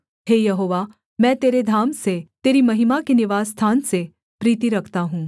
हे यहोवा मैं तेरे धाम से तेरी महिमा के निवासस्थान से प्रीति रखता हूँ